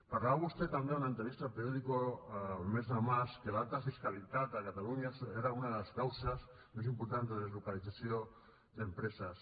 parlava vostè també en una entrevista a el periódico al mes de març que l’alta fiscalitat a catalunya era una de les causes més importants de deslocalització d’empreses